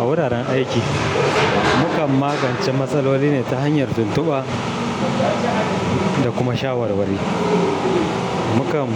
A wuraren aiki, mukan magance matsaloli ne ta hanyar tuntuba da kuma shawarwari. Mukan